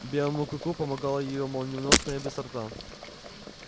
белому клыку помогала его молниеносная быстрота